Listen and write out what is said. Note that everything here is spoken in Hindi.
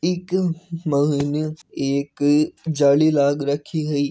इ के मायने एक जाली लग राखी है।